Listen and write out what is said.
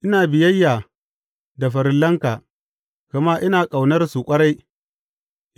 Ina biyayya da farillanka, gama ina ƙaunarsu ƙwarai.